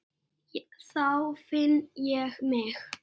Þá finn ég mig.